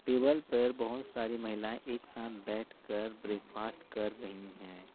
Table पर बहुत सारी महिलाएं एक साथ बैठकर ब्रेकफास्ट कर रही है।